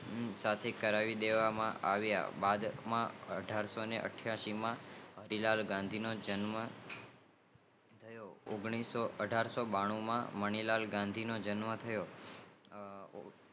કરાવી દેવા માં આવિયા બસ અઠારસોઇથીયશી માં હરિલાલગાંધી નો જન્મ થયો અઠારશોબાનુમાં મણિલાલગંધીનો જન્મ થયો